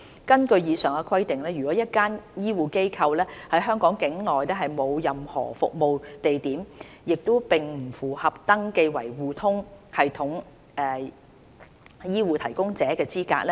根據以上規定，如果一間醫護機構在香港境內沒有任何服務地點，它並不符合登記為互通系統醫護提供者的資格。